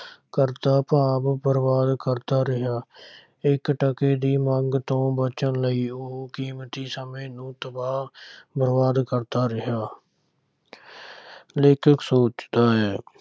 ਕਰਦਾ ਭਾਵ ਬਰਬਾਦ ਕਰਦਾ ਰਿਹਾ ਇੱਕ ਟਕੇ ਦੀ ਮੰਗ ਤੋਂ ਬਚਣ ਲਈ ਉਹ ਕੀਮਤੀ ਸਮੇਂ ਨੂੰ ਤਬਾਹ ਬਰਬਾਦ ਕਰਦਾ ਰਿਹਾ ਲੇਖਕ ਸੋਚਦਾ ਹੈ